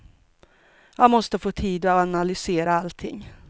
Jag måste få tid att analysera allting.